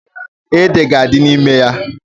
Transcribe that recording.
Ede ga-adị n'ime ya.